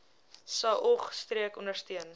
saog streek ondersteun